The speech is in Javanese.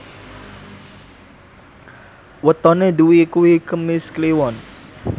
wetone Dwi kuwi Kemis Kliwon